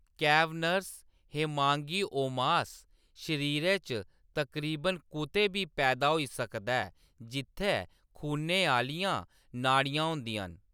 Cavernous hemangiomas शरीरै च तकरीबन कुतै बी पैदा होई सकदा ऐ जित्थै खूनै आह्‌लियां नाड़ियां होंदियां न।